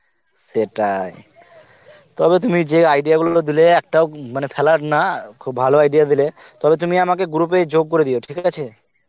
সেটাই, তবে তুমি যেই idea গুলো দিলে একটাও মানে ফেলার না খুব ভালো idea দিলে তবে তুমি আমাকে group এ যোগ করে দিও ঠিক আছে